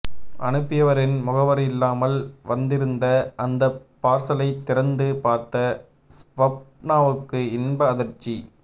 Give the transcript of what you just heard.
அனுப்பியவரின் முகவரி இல்லாமல் வந்திருந்த அந்தப் பார்சலைத் திறந்து பார்த்த ஸ்வப்னாவுக்கு இன்ப அதிர்ச்சி